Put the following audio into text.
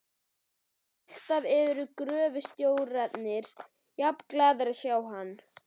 Alltaf eru gröfustjórarnir jafnglaðir að sjá hann.